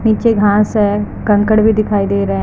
नीचे घास हैं कंकड़ भी दिखाई दे रहे --